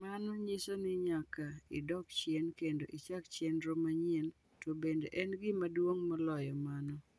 Mano nyiso ni nyaka idok chien kendo ichak chenro manyien, to bende en gima duong’ moloyo mano.